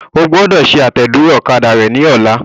O gbọ́dọ̀ ṣe àtẹ̀dúró ọ̀kadà rẹ ní ọlá.